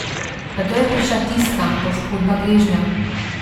Nato je prišla tista poškodba gležnja ...